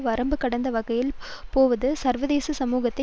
வரம்பு கடந்த வகையில் போவது சர்வதேச சமூகத்தை